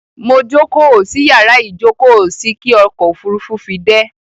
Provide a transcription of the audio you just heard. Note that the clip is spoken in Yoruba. Mo jókóò sí yàrá ìjókóò sí kí ọkò òfurufú fi dẹ́.